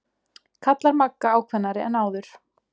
kallar Magga ákveðnari en áður.